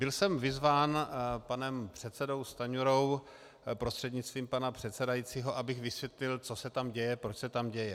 Byl jsem vyzván panem předsedou Stanjurou, prostřednictvím pana předsedajícího, abych vysvětlil, co se tam děje, proč se tam děje.